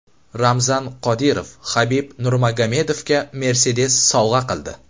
Ramzan Qodirov Habib Nurmagomedovga Mercedes sovg‘a qildi .